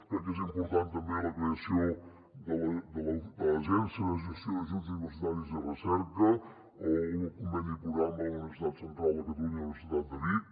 crec que és important també la creació de l’agència de gestió d’ajuts universitaris i de recerca o el conveni programa de la universitat central de catalunya universitat de vic